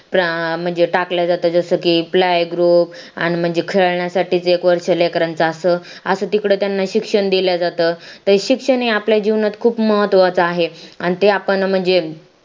म्हणजे टाकल्या जातात जसं की playgroup म्हणजे खेळण्यासाठी एक वर्ष लेकरांच असं तिकडे त्यांना शिक्षण दिले जातात ते शिक्षण आपल्या जीवनात खूप महत्त्वाचा आहे आणि ते आपण म्हणजे